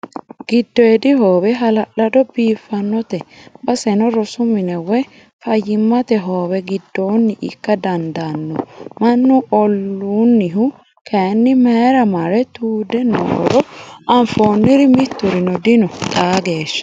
Giddodi hoowe hala'lado biifinote baseno rosu mine woyi fayyimmate hoowe giddoni ikka dandaano mannu ollunihu kayinni mayra marre tude nooro anfoniri miturino dino xaa geeshsha.